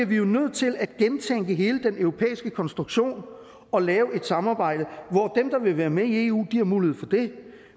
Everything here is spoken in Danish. vi jo nødt til at gentænke hele den europæiske konstruktion og lave et samarbejde hvor dem der vil være med i eu har mulighed for det